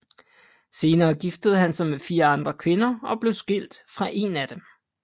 Senere giftede han sig med fire andre kvinder og blev skilt fra en af dem